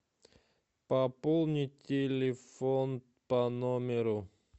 пополнить телефон по номеру